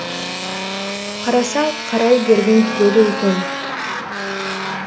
қарасаң қарай бергің келеді екен